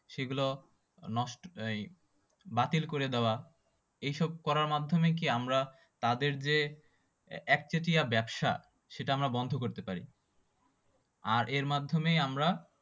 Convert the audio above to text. সেই গুলা নষ্ট এই বাতিল করে দেওয়া। এইসব করার মাধ্যমে কি আমরা তাদের যে একচেটিয়া ব্যবসা সেইটা আমি বন্ধ করতে পারি। আর এই মাধ্যমেই আমরা